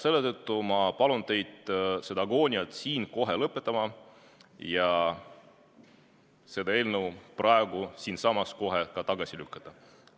Selle tõttu palun ma teid see agoonia siin kohe lõpetada ja see eelnõu praegu siinsamas kohe tagasi lükata.